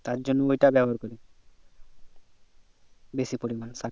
তার জন্য ওইটা ব্যবহার করি বেশি পরিমানে সার টা